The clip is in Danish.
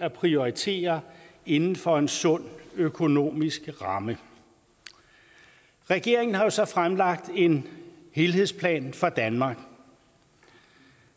at prioritere inden for en sund økonomisk ramme regeringen har jo så fremlagt en helhedsplan for danmark